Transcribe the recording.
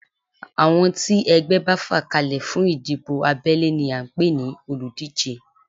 Àwọn tí ẹgbẹ́ bá fà kalẹ̀ fún ìdìbò abẹ́lé ni à ń pè ní olùdíje